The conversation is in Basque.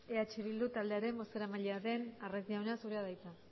eh bildu taldearen bozeramailea den arraiz jauna zurea da hitza